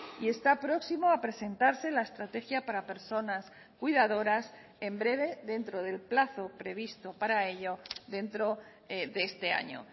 y está próximo a presentarse la estrategia para personas cuidadoras en breve dentro del plazo previsto para ello dentro de este año